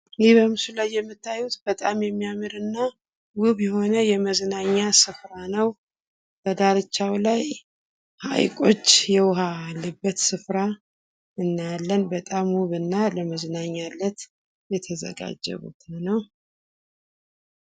ይህ በምስሉ ላይ የምታዩት በጣም የሚያምር እና ዉብ የሆነ የመዝናኛ ስፍራ ነው። በዳርቻው ላይ ሃይቆች የዉሃ ያለበት ስፍራ እናያለን ፤ በጣም ዉብ እና ለመዝናኛነት የተዘጋጀ ቦታ ነው።